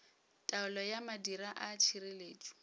taolo ya madira a tšhireletšo